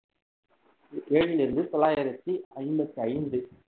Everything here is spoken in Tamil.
ஏழிலிருந்து தொள்ளாயிரத்தி ஐம்பத்தி ஐந்து